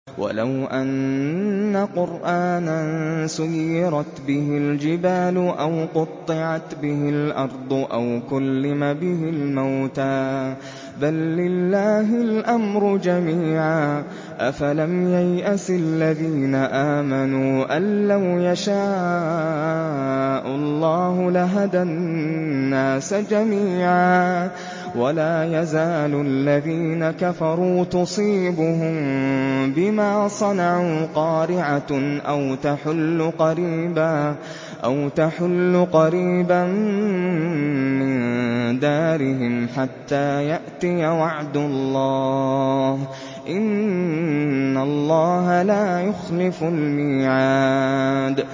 وَلَوْ أَنَّ قُرْآنًا سُيِّرَتْ بِهِ الْجِبَالُ أَوْ قُطِّعَتْ بِهِ الْأَرْضُ أَوْ كُلِّمَ بِهِ الْمَوْتَىٰ ۗ بَل لِّلَّهِ الْأَمْرُ جَمِيعًا ۗ أَفَلَمْ يَيْأَسِ الَّذِينَ آمَنُوا أَن لَّوْ يَشَاءُ اللَّهُ لَهَدَى النَّاسَ جَمِيعًا ۗ وَلَا يَزَالُ الَّذِينَ كَفَرُوا تُصِيبُهُم بِمَا صَنَعُوا قَارِعَةٌ أَوْ تَحُلُّ قَرِيبًا مِّن دَارِهِمْ حَتَّىٰ يَأْتِيَ وَعْدُ اللَّهِ ۚ إِنَّ اللَّهَ لَا يُخْلِفُ الْمِيعَادَ